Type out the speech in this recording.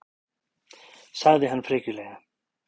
sagði hann frekjulega.